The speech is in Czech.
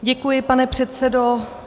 Děkuji, pane předsedo.